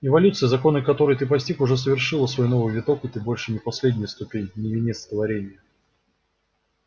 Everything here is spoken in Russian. эволюция законы которой ты постиг уже совершила свой новый виток и ты больше не последняя ступень не венец творенья